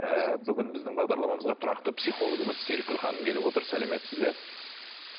ы бүгін біздің бағдарламамызға тұрақты психологымыз серікгүл ханым келіп отыр сәлеметсіз бе